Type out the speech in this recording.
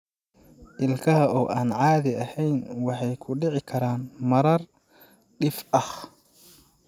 Ilkaha oo aan caadi ahayn waxay ku dhici karaan marar dhif ah.